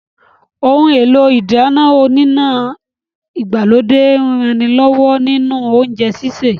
Ohun èlò ìdáná oníná ìgbàlódé ń ranilọ́wọ́ nínú oúnjẹ sísè